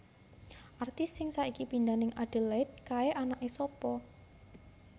Artis sing saiki pindah ning Adelaide kae anake sapa